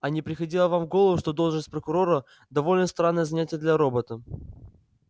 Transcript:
а не приходило вам в голову что должность прокурора довольно странное занятие для робота